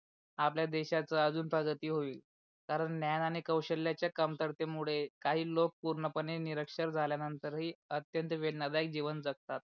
आपल्या देशाचा अजून प्रगती होईल. कारण ज्ञान आणि कौशल्याच्या कमतरतेमूळे काही लोक पूर्ण पणे निरक्षर झाल्या नंतर ही अत्यंत वेदनदायी जीवन जगततात.